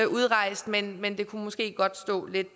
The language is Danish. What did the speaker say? udrejst men men det kunne måske godt stå lidt